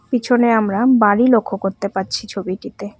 পিছনে আমরা বাড়ি লক্ষ্য করতে পারছি ছবিটিতে।